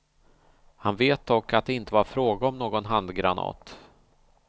Han vet dock att det inte var fråga om någon handgranat.